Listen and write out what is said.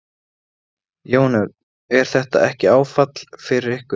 Jón Örn: Er þetta ekki áfall fyrir ykkur?